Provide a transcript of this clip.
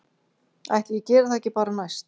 Ætli ég geri það ekki bara næst